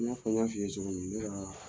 I n'a fɔ n y'a f'i ye cogo min ne ka